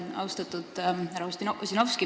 Austatud härra Ossinovski!